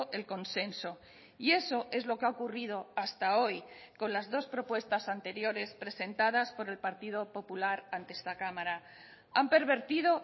el consenso y eso es lo que ha ocurrido hasta hoy con las dos propuestas anteriores presentadas por el partido popular ante esta cámara han pervertido